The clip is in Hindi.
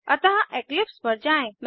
अतः इक्लिप्स पर जाएँ